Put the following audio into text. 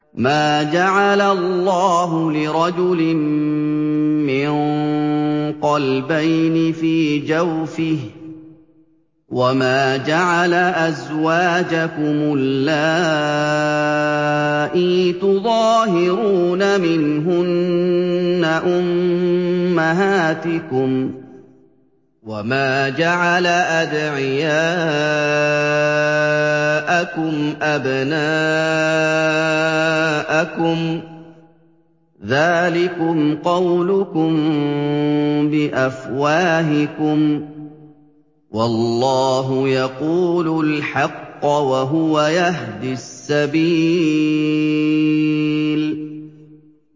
مَّا جَعَلَ اللَّهُ لِرَجُلٍ مِّن قَلْبَيْنِ فِي جَوْفِهِ ۚ وَمَا جَعَلَ أَزْوَاجَكُمُ اللَّائِي تُظَاهِرُونَ مِنْهُنَّ أُمَّهَاتِكُمْ ۚ وَمَا جَعَلَ أَدْعِيَاءَكُمْ أَبْنَاءَكُمْ ۚ ذَٰلِكُمْ قَوْلُكُم بِأَفْوَاهِكُمْ ۖ وَاللَّهُ يَقُولُ الْحَقَّ وَهُوَ يَهْدِي السَّبِيلَ